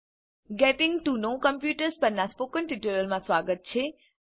gating to know computers પરનાં spoken ટ્યુટોરીયલમાં સ્વાગત છે